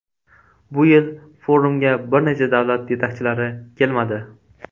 Bu yil forumga bir necha davlat yetakchilari kelmadi.